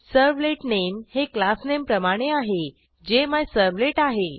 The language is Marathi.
सर्व्हलेट नेम हे क्लासनेम प्रमाणे आहे जे मिझर्व्हलेट आहे